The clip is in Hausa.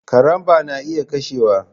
Karambaw na iya kashewa.